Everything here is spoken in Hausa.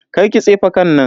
Karki tsefe kan nan.